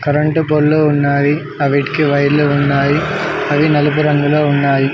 Current పొల్లు ఉన్నావి అవిటికి వైర్లు ఉన్నాయి అవి నలుపు రంగులో ఉన్నాయి.